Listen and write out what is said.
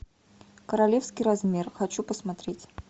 королевский размер хочу посмотреть